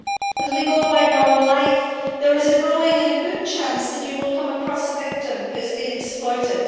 As we go about normal life, there is a growing and a good chance that you will come across a victim who has been exploited.